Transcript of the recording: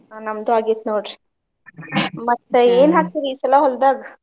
ಹಾ ನಮ್ದು ಆಗೆತಿ ನೋಡ್ರಿ ಮತ್ತ ಹಾಕ್ತೀರಿ ಈ ಸಲಾ ಹೊಲ್ದಾಗ್?